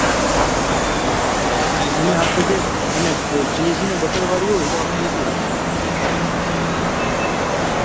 અને અને chinese ને butter વાળી હોય તો આપડે એસી રૂપિયા